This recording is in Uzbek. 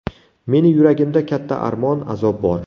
Meni yuragimda katta armon, azob bor.